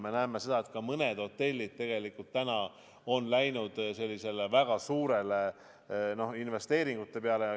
Me näeme seda, et ka mõned hotellid on läinud väga suurte investeeringute peale.